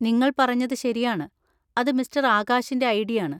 നിങ്ങൾ പറഞ്ഞത് ശരിയാണ്, അത് മിസ്റ്റർ ആകാശിന്‍റെ ഐഡിയാണ്.